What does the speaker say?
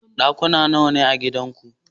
Ɗakuna nawane a gidanku?